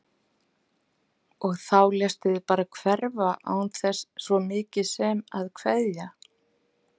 Og þá léstu þig bara hverfa án þess svo mikið sem að kveðja!